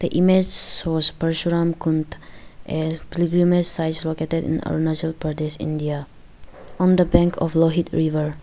a image shows parshuram kund a pilgrimage size located in arunachal pradesh india on the bank of lohit river.